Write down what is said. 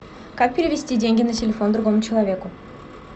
как перевести деньги на телефон другому человеку